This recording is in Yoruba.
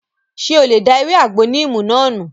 Ṣé o lè da ewé àgbo níìmù náà nù?